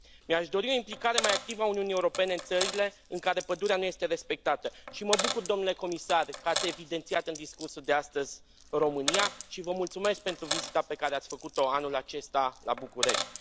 Mi aș dori o implicare mai activă a Uniunii Europene în țările în care pădurea nu este respectată și mă bucur, domnule Comisar, că ați evidențiat în discursul de astăzi România și vă mulțumesc pentru vizita pe care ați făcut o anul acesta la București.